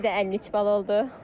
Məndə də 53 bal oldu.